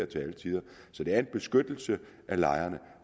til alle tider så det er en beskyttelse af lejerne